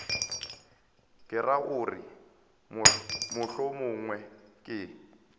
ke ra gore mohlomongwe ke